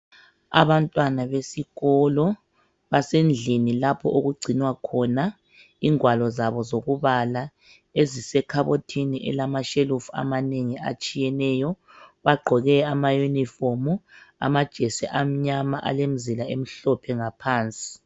Abantwana besikolo basendlini lapho okugcinwa khona ingwalo zabo zokubala ezisekhabothini elamashelufu amanengi atshiyeneyo bagqoke amayunifomu amajesi amnyama alemzila emhlophe ngaphansi.